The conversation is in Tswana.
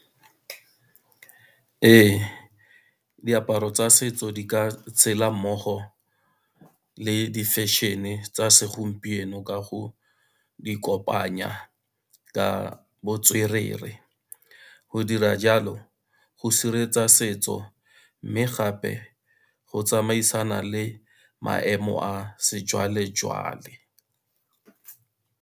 Ee, diaparo tsa setso di ka tshela mmogo le di-fashion-e tsa segompieno ka go di kopanya ka botswerere, go dira jalo go sireletsa setso, mme gape go tsamaisana le maemo a sejwalejwale.